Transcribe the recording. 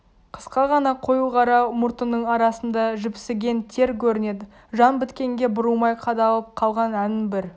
қысқа ғана қою қара мұртының арасында жіпсіген тер көрінеді жан біткенге бұрылмай қадалып қалған әнін бір